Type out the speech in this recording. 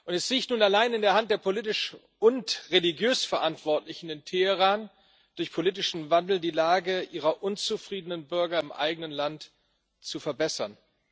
Es liegt nun allein in der Hand der politisch und religiös Verantwortlichen in Teheran, durch politischen Wandel die Lage ihrer unzufriedenen Bürger im eigenen Land zu verbessern.